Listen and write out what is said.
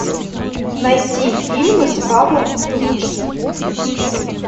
найти фильмы с павлом прилучным